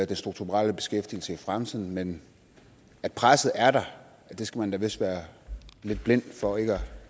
den strukturelle beskæftigelse i fremtiden men presset er der og det skal man da vist være lidt blind for ikke at